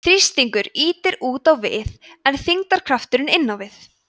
þrýstingur ýtir út á við en þyngdarkrafturinn inn á við